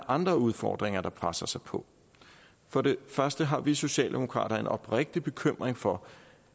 andre udfordringer der presser sig på for det første har vi socialdemokrater en oprigtig bekymring for